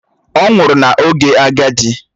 Ọ nwụrụ n’oge agadi